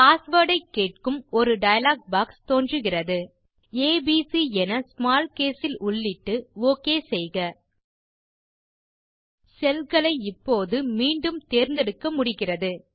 password ஐ கேட்கும் ஒரு டயலாக் பாக்ஸ் தோன்றுகிறது ஏபிசி என ஸ்மால் கேஸ் இல் உள்ளிட்டு ஒக் செய்க cellகளை இப்போது மீண்டும் தேர்ந்தெடுக்க முடிகிறது